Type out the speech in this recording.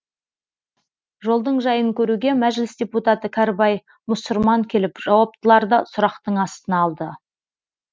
жолдың жайын көруге мәжіліс депутаты кәрібай мұсырман келіп жауаптыларды сұрақтың астына алды